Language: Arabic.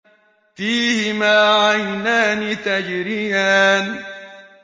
فِيهِمَا عَيْنَانِ تَجْرِيَانِ